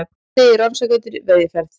Segir rannsakendur í veiðiferð